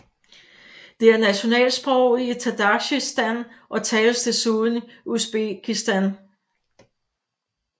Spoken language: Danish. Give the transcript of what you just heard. Det er nationalsproget i Tadsjikistan og tales desuden i Usbekistan